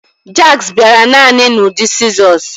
Jacks bịara naanị n'ụdị sịzọs